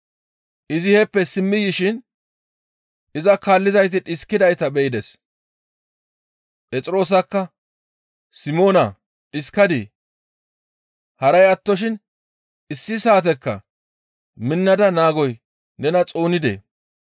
Izi heeppe simmi yishin iza kaallizayti dhiskidayta be7ides. Phexroosakka, «Simoona dhiskadii? Haray attoshin issi saatekka minnada naagoy nena xoonidee?